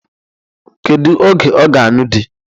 Kedu oge ọ ga-ańụ di?